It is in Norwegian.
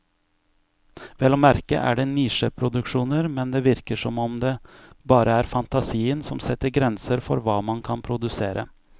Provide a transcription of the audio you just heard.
Vel å merke er det nisjeproduksjoner, men det virker som om det bare er fantasien som setter grenser for hva man kan produsere.